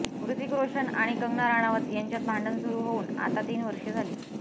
हृतिक रोशन आणि कंगणा रणावत यांच्यात भांडण सुरु होऊन आता तीन वर्षे झाली